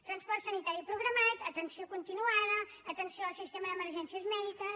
transport sanitari programat atenció continuada atenció al sistema d’emergències mèdiques